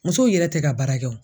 Musow yɛrɛ tɛ ka baara kɛ wo.